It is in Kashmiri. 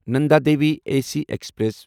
Nanda Devi A C express